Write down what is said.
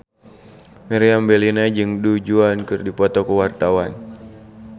Meriam Bellina jeung Du Juan keur dipoto ku wartawan